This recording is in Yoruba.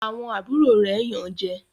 Àwọn àbúrò rẹ Yàn jé.